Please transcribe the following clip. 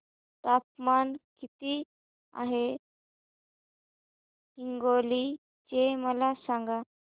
तापमान किती आहे हिंगोली चे मला सांगा